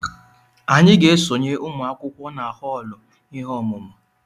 Anyị ga-esonye ụmụ akwụkwọ na họọlụ ihe ọmụmụ